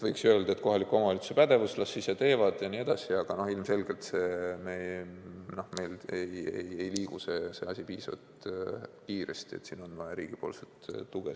Võiks ju öelda, et kohaliku omavalitsuse pädevus – las ise teevad ja nii edasi –, aga ilmselgelt ei liigu see asi piisavalt kiiresti, siin on vaja riigipoolset tuge.